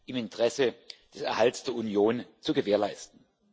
im Interesse des Erhalts der Union zu gewährleisten.